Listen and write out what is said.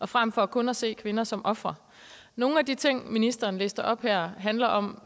frem for kun at se kvinder som ofre nogle af de ting som ministeren listede op her handler om